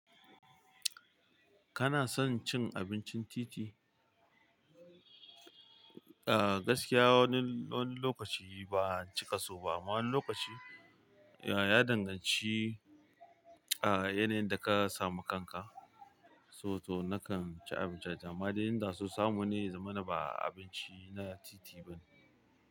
Kana son cin abincin titi? Ah gaskiya wani, wani lokaci ba'a cika soba amma wani lokaci ya danganci ah yanayin da ka samu kanka. So to nakan ci abinci a jama'a, amma dai inda so samu ne ya zamana ba abinci na titi bane.